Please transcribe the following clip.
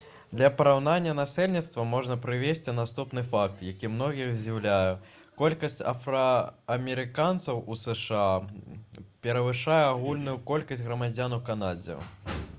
для параўнання насельніцтва можна прывесці наступны факт які многіх здзіўляе колькасць афраамерыканцаў у зша перавышае агульную колькасць грамадзян у канадзе